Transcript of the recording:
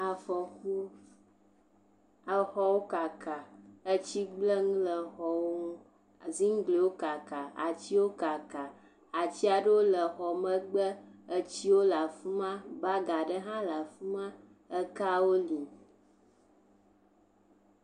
Afɔku, exɔwo kaka etsi gblẽ nu le xɔwo ŋu ziŋgliwo kaka, atiwo kaka, ati aɖewo le exɔ megbe estiwo le afi ma, bagi aɖewo hã le afi ma, ekawo li.